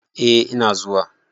eh Ina zuwa